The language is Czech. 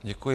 Děkuji.